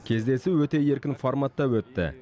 кездесу өте еркін форматта өтті